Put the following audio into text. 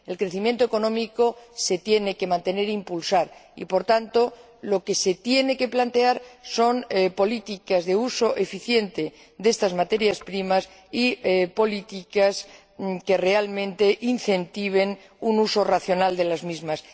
el crecimiento económico se tiene que mantener e impulsar y, por tanto, lo que se tiene que plantear son políticas de uso eficiente de estas materias primas y políticas que realmente incentiven un uso racional de las mismas.